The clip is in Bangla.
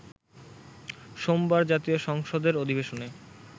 সোমবার জাতীয় সংসদের অধিবেশনে